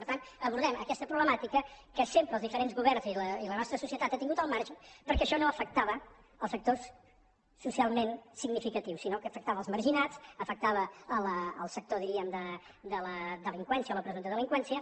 per tant abordem aquesta problemàtica que sempre els diferents governs i la nostra societat ha tingut al marge perquè això no afectava els sectors socialment significatius sinó que afectava els marginats afectava el sector diríem de la delinqüència o la presumpta delinqüència